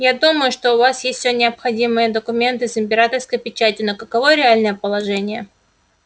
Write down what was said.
я думаю что у вас есть всё необходимые документы с императорской печатью но каково реальное положение